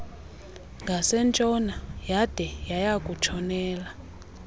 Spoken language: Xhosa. ngasentshona yade yayakutshonela